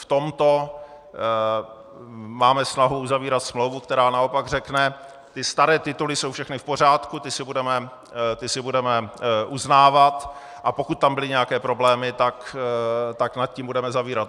V tomto máme snahu uzavírat smlouvu, která naopak řekne: ty staré tituly jsou všechny v pořádku, ty si budeme uznávat, a pokud tam byly nějaké problémy, tak nad tím budeme zavírat.